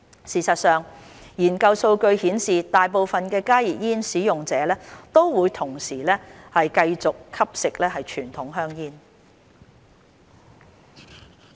事實上，研究數據顯示大部分加熱煙使用者都同時繼續吸食傳統香煙。